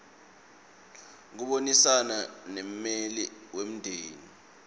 kubonisana nemmeli wemndeni